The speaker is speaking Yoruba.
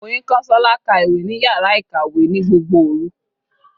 Oyinkansola ka ìwé ní yàrá ìkàwé ní gbogbo òru.